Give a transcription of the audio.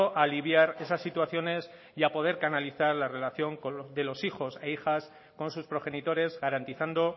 a aliviar esas situaciones y a poder canalizar la relación de los hijos e hijas con sus progenitores garantizando